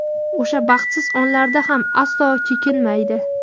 o‘sha baxtsiz onlarda ham aslo chekinmaydi.